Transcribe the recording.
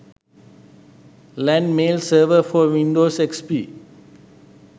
lan mail server for windows xp